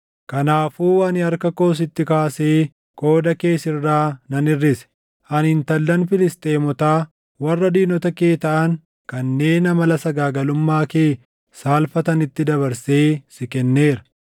Kanaafuu ani harka koo sitti kaasee qooda kee sirraa nan hirʼise; ani intallan Filisxeemotaa warra diinota kee taʼan kanneen amala sagaagalummaa kee saalfatanitti dabarsee si kenneera.